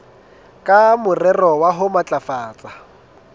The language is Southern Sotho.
ka morero wa ho matlafatsa